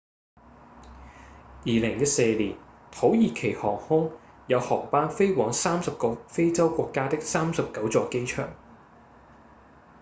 2014年土耳其航空有航班飛往30個非洲國家的39座機場